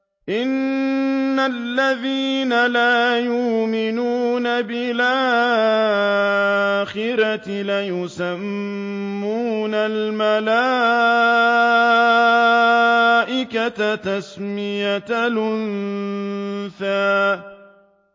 إِنَّ الَّذِينَ لَا يُؤْمِنُونَ بِالْآخِرَةِ لَيُسَمُّونَ الْمَلَائِكَةَ تَسْمِيَةَ الْأُنثَىٰ